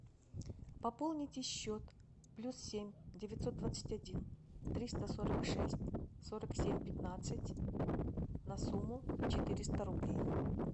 пополните счет плюс семь девятьсот двадцать один триста сорок шесть сорок семь пятнадцать на сумму четыреста рублей